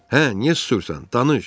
Hə, niyə susursan, danış!